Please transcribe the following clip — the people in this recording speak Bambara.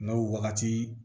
N'o wagati